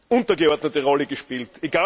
untergeordnete Rolle gespielt.